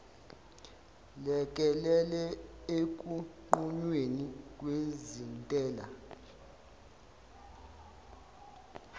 lekelele ekunqunyweni kwezintela